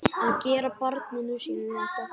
Að gera barninu sínu þetta!